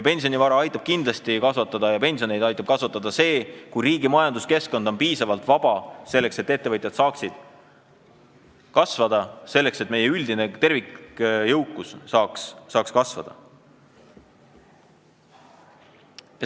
Pensionivara ja pensione aitab kindlasti kasvatada see, kui riigi majanduskeskkond on piisavalt vaba, selleks et saaksid kasvada ettevõtted ja meie üldine jõukus.